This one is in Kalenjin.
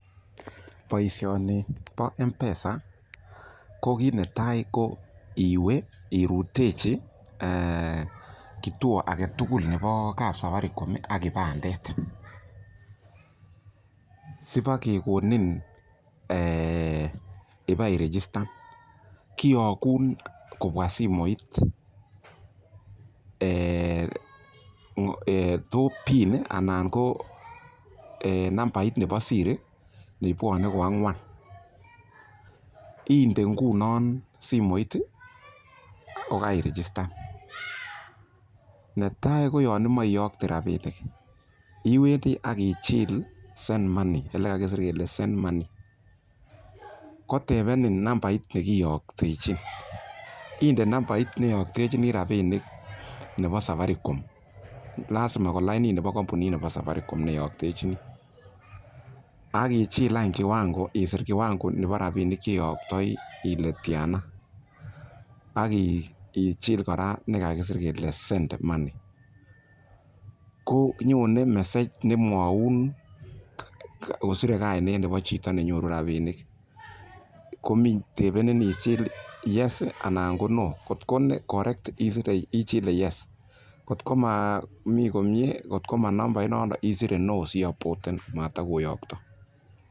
Boishoni boo mpesa ko kiit netai ko iwee irutechii eeh kituo aketukul neboo kapsafaricom ak kipandet, sibakekonin eeh ibaii richistan, kiyokun kobwaa simoit eeh too pin anan Koo nambait neboo siri nebwone koang'wan, indee ng'unon simoit ii kokaii irichistan, netaii koyon imoe iyoktee rabinik, iwendii akichil send money elekakisir kelee send money kotebenin nambait nekiyoktechin, indee nambait neyoktechini rabinik nebo Safaricom, lasima ko lainait neboo kombunit neboo Safaricom neyoktechini, akichiil any kiwango isiir kiwango neboo rabinik cheyoktoi ilee tianaa, akichil kora elekakisir kelee send money, konyone kora message nemwoun kosire kainet neboo chito nenyoru rabinik komii tebenin ichil yes anan ko no kot ko nee correct ichilee yes kot ko nee momii komie kot ko manambai noton isire no si aboten matokoyokto.